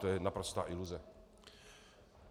To je naprostá iluze.